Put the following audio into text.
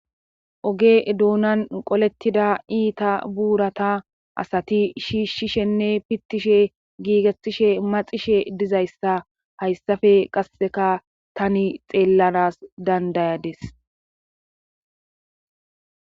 Oge duunan qolettida iita buurata asati shiishshishenne pittishe giigettishe maxishe dizayssa hayssafe qasseka tani xeellanas dandayades.